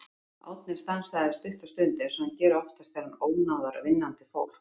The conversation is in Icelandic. Árni stansaði stutta stund eins og hann gerir oftast þegar hann ónáðar vinnandi fólk.